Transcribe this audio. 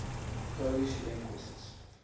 polish linguists